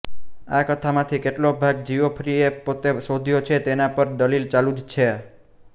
આ કથામાંથી કેટલો ભાગ જીઓફ્રીએ પોતે શોધ્યો છે તેના પર દલીલ ચાલુ જ છે